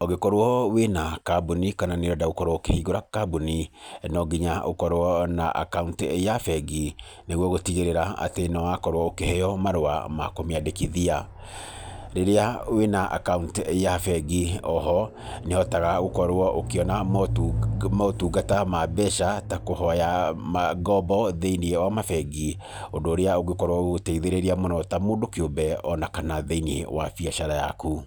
Ũngĩkorwo wĩna kambuni kana nĩ ũrenda gũkorwo ũkĩhingũra kambuni, no nginya ũkorwo na akaũnti ya bengi, nĩguo gũtigĩrĩra atĩ nĩ wakorwo ũkĩheo marũa ma kũmĩandĩkithia. Rĩrĩa wĩna akaũnti ya bengi o ho nĩũhotaga gũkorwo ũkĩona motungata ma mbeca ta kũhoya ngombo thĩ-inĩ wa mabengi, ũndũ ũrĩa ũngĩkorwo ũgĩteithĩrĩria mũno ta mũndũ kĩũmbe o na kana thĩ-inĩ wa biacara yaku.